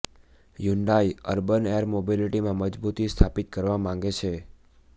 Hyundai urban air મોબિલિટીમાં મજબૂતી સ્થાપિત કરવા માગે છે